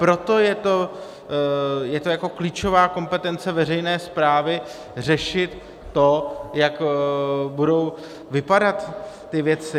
Proto je to jako klíčová kompetence veřejné správy řešit to, jak budou vypadat ty věci.